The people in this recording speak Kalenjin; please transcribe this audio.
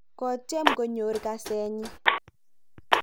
kotyem konyoru kasenyin